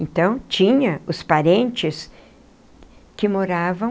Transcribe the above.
Então tinha os parentes que moravam